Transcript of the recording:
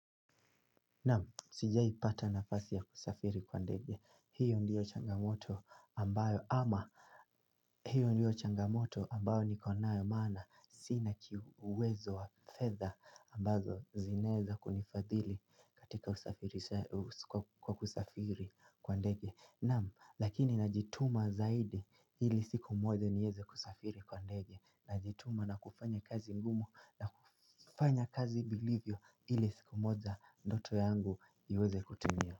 Naam, sijai pata nafasi ya kusafiri kwa ndege, hiyo ndiyo changamoto ambayo ama hiyo ndiyo changamoto ambayo nikonayo maana sinau uwezo wa fedha ambazo zinaeza kunifadhili katika kusafiri kwa ndege. Naam, lakini najituma zaidi ili siku moja niweze kusafiri kwa ndege. Na jituma na kufanya kazi ngumu na kufanya kazi vilivyo ili siku moja ndoto yangu iweze kutumia.